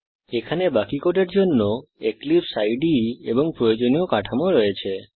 এখানে বাকি কোডের জন্য এক্লিপসে ইদে এবং প্রয়োজনীয় কাঠামো রয়েছে